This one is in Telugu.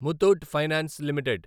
Muthoot finance limited